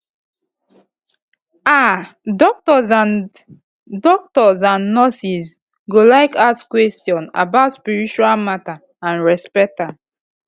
um doctors and doctors and nurses go like ask questions about spiritual matter and respect am